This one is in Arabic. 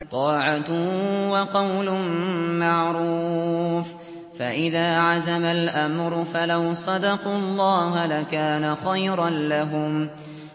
طَاعَةٌ وَقَوْلٌ مَّعْرُوفٌ ۚ فَإِذَا عَزَمَ الْأَمْرُ فَلَوْ صَدَقُوا اللَّهَ لَكَانَ خَيْرًا لَّهُمْ